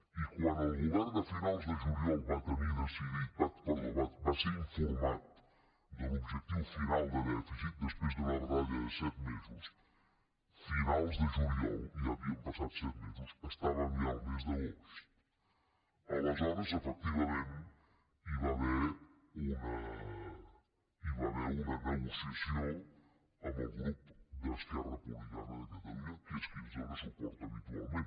i quan el govern a finals de juliol va ser informat de l’objectiu final de dèficit després d’una batalla de set mesos finals de juliol i ja havien passat set mesos estàvem ja al mes d’agost aleshores efectivament hi va haver una negociació amb el grup d’esquerra republicana de catalunya que és qui ens dóna suport habitualment